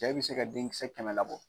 Cɛ in bɛ se ka denkisɛ kɛmɛ labɔ.